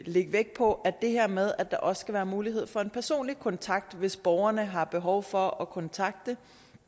lægge vægt på det her med at der også skal være mulighed for en personlig kontakt hvis borgerne har behov for at kontakte